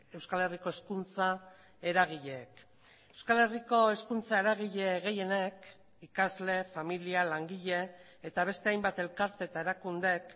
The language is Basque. euskal herriko hezkuntza eragileek euskal herriko hezkuntza eragile gehienek ikasle familia langile eta beste hainbat elkarte eta erakundeek